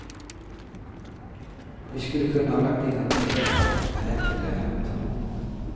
Vi skulle kunna ha lagt in en protest, men det är inte lönt.